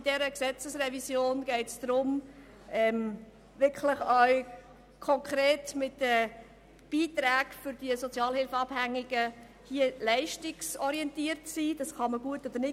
In dieser Gesetzesrevision geht es darum, die Beiträge für die Sozialhilfeabhängigen leistungsorientiert zu verteilen, ob man das gut findet oder nicht.